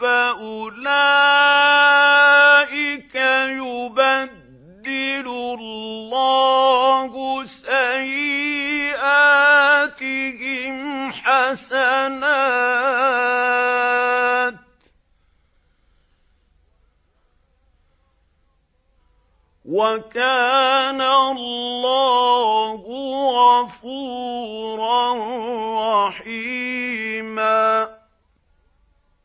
فَأُولَٰئِكَ يُبَدِّلُ اللَّهُ سَيِّئَاتِهِمْ حَسَنَاتٍ ۗ وَكَانَ اللَّهُ غَفُورًا رَّحِيمًا